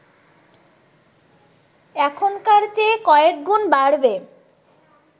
এখনকার চেয়ে কয়েকগুণ বাড়বে